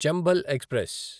Chambal express